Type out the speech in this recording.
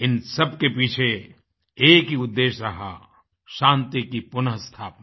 इन सबके पीछे एक ही उद्देश्य रहा शान्ति की पुन स्थापना